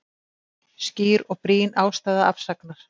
Skýr og brýn ástæða afsagnar